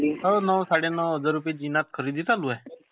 हो नऊ, सडे नऊ हजार रुपयाची खरेदी चालू आहे.